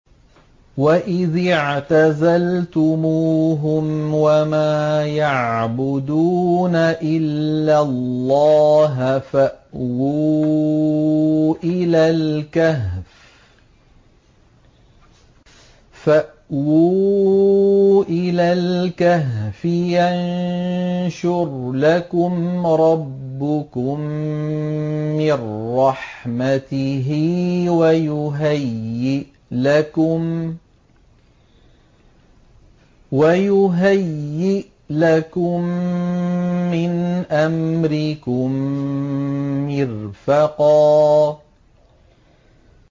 وَإِذِ اعْتَزَلْتُمُوهُمْ وَمَا يَعْبُدُونَ إِلَّا اللَّهَ فَأْوُوا إِلَى الْكَهْفِ يَنشُرْ لَكُمْ رَبُّكُم مِّن رَّحْمَتِهِ وَيُهَيِّئْ لَكُم مِّنْ أَمْرِكُم مِّرْفَقًا